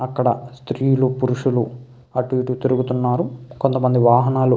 అక్కడ స్త్రీలు పురుషులు అటు ఇటు తిరుగుతున్నారు. కొంతమంది వాహనాలు --